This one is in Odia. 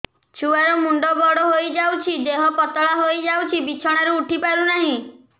ଛୁଆ ର ମୁଣ୍ଡ ବଡ ହୋଇଯାଉଛି ଦେହ ପତଳା ହୋଇଯାଉଛି ବିଛଣାରୁ ଉଠି ପାରୁନାହିଁ